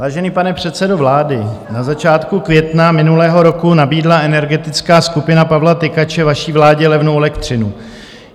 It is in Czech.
Vážený pane předsedo vlády, na začátku května minulého roku nabídla energetická skupina Pavla Tykače vaší vládě levnou elektřinu.